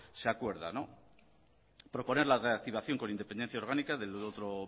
se acuerda no proponer la reactivación con independencia orgánica del otro